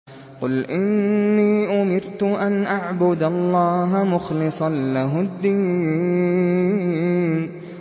قُلْ إِنِّي أُمِرْتُ أَنْ أَعْبُدَ اللَّهَ مُخْلِصًا لَّهُ الدِّينَ